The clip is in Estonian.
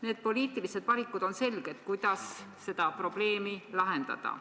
Need poliitilised valikud on selged, kuidas seda probleemi lahendada.